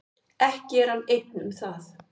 Ekki er hann einn um það.